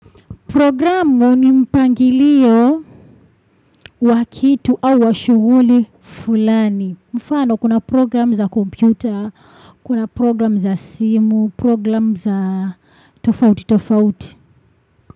Programu ni mpangilio wa kitu au wa shughuli fulani. Mfano kuna programu za kompyuta, kuna programu za simu, programu za tofauti tofauti.